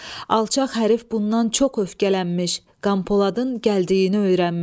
Alçaq hərıf bundan çox öfkələnmiş, Qanpoladın gəldiyini öyrənmiş.